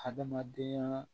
Hadamadenyaa